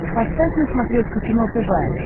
поставь на смотрешке кино тв